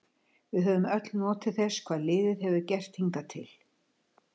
Við höfum öll notið þess hvað liðið hefur gert hingað til.